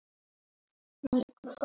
Fátt er svo.